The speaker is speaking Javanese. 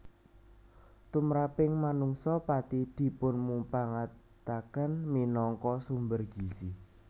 Tumraping manungsa pathi dipunmupangataken minangka sumber gizi